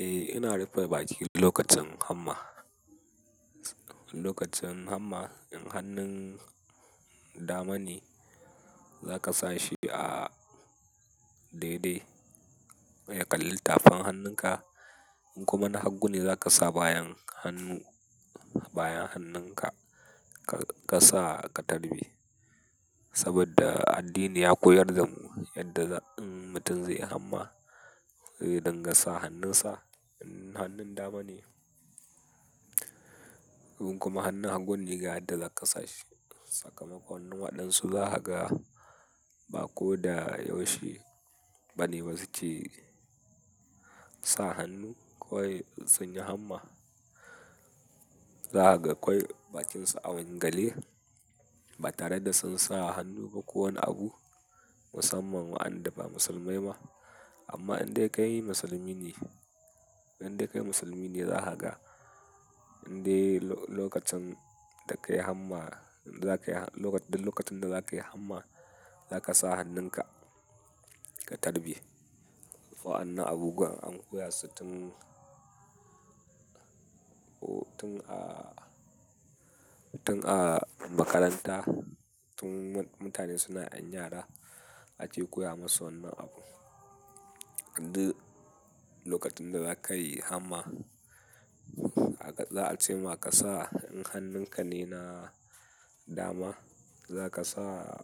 Eh, ina rufe baki lokacin hamma. Lokacin hamma, in hannun dama ne, zaka sa shi a daidai ya ƙalli tafin hannunka. In kuma na hagu ne, zaka sa bayan hannu-- bayan hannunka ka sa ka tarbe. Saboda addini ya korya da mu yadda in mutum zai yi hamma zai din ga sa hannun sa in hannun dama ne in kuma hannun hagu ne, ga yadda za ka sa shi. Sakamakon, waɗansu za ha ga ba ko da yaushe, bane su ke sa hannu, kawai sun yi hamma. Za ga kawai bakinsu a wanga le, ba tare da sun sa hannu ba ko wani abu, musamman wa'andan ba musulmai ma. Amma in dai kai musulmi ne, in dai kai musulmi ne, za ka ga in dai lokacin da ka yi hamma, da ka yi-- da lokacin da za ka yi hamma, za ka sa hannunka ka tarbi. Wa'anna abubuwan an koya su tun a, tun a makaranta. Tun mutane suna ƴan yara ake koya masu wannan abu. Lokacin da za ka yi hamma, za a ce ma ka, sa in hannunka ne na dama, za ka sa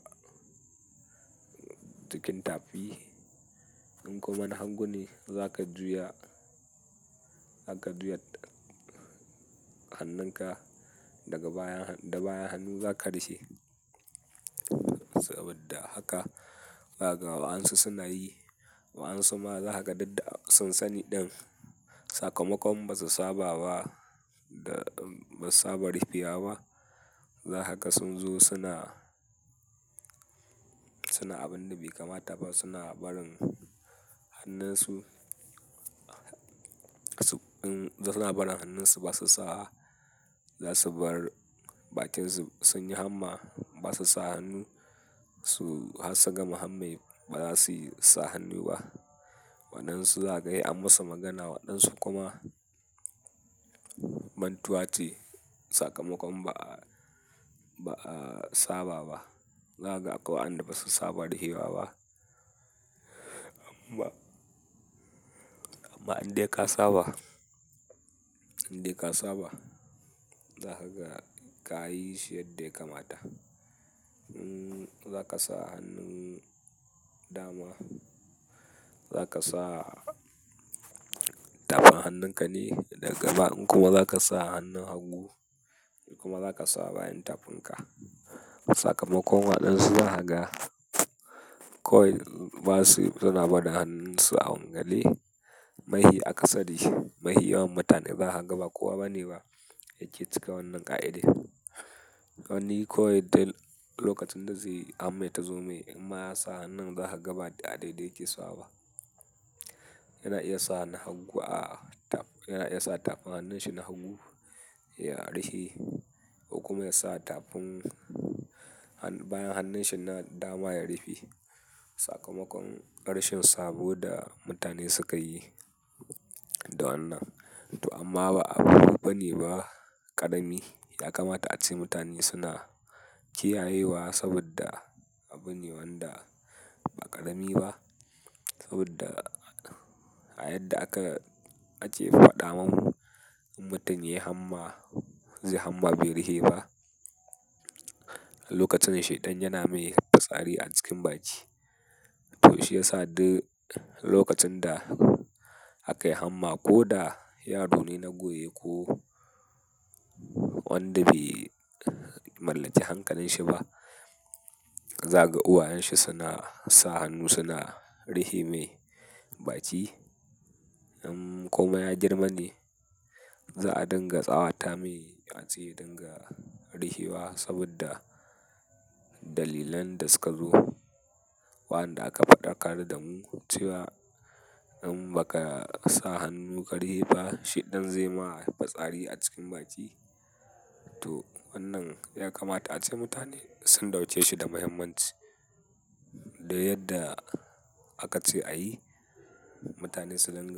cikin tafi. In kuma na hagu ne, za ka juya, za ka juya hannunka daga baya, da baya hannu za ka rufe shi. Saboda haka, za ga wa'ansu suna yi, wa'ansu ma za ha ga duk da sun sani ɗan sakamakon ba su saba ba da ba saba rufewa ba, za ka ga sun zo suna, suna abun da bai kamata ba. Suna barin hannunsu, suna barin hannunsu ba su sa. Za su bar bakinsu sun yi hamma ba su sa hannu. Su har su gama hamme ba za su yi sa hannu ba. Waɗansu za kaga sai an masu magana, waɗansu kuma mantuwa ce sakamakon ba a, ba a saba ba. Za kaga akwai wa'anda ba su saba rufewa ba. Amma, amma in dai ka saba, in dai ka saba, za ka ga ka yi shi yadda ya kamata. Za ka sa hannun dama. Zaka sa tafin hannun kane daga in kuma za ka sa hannun hagu. In kuma za ka sa bayan tafinka. Sakamakon, waɗansu za kaga kawai ba su suna barin hannunsu a wanga le. Mahi a kasari. Mahi yawan mutane za kaga ba kowa ba bane ba yake cika wannan ƙa'ida. Wanni kawai dai lokacin da zai hamme ta zo mai, in ma ya sa hannun, za ka ga ba a daidai ya ke sawa ba. Yana iya sa na hagu a taf-- yana iya sa tafin hannun shi na hagu ya ruhe. In kuma ya sa tafin bayan hannun shi na dama ya rufe. Sakamakon, ƙarshen saboda mutane suka yi da wannan. To amma ba abu bane ba, ƙarami ya kamata ace mutane suna kiyayewa saboda abu ne wanda ba ƙarami ba. Saboda a yadda aka ace faɗa mun, in mutum ya yi hamma, zai hamma bai rufe ba, lokacin shaiɗan yana mai fitsari a cikin baki. To shi ya sa duk lokacin da aka yi hamma ko da yaro ne na goye ko wanda bai mallaki hankalinshi ba, za ga uwayen shi suna sa hannu suna rufe mai baki. In komai ya girma ne, za a dinga tsawata mai ace dinga rufewa saboda dalilan da suka zo. Wa'anda aka faɗa ka da mu cewa in ba ka sa hannu ka rufe ba, shaiɗan zai ma fitsari a cikin baki. Toh wanan ya kamata ace mutane sun dauke shi da mahimmanci duk yadda aka ce ayi mutane su dinga.